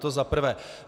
To za prvé.